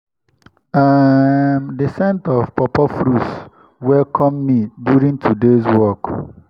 um the scent of pawpaw fruits welcome me during today's walk.